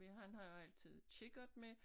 Han har jo altid kikkert med